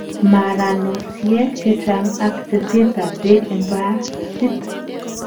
maranosiek chechang ak teset ab beek en bariit